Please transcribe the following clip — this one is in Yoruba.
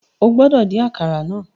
O gbọdọ din àkàrà náà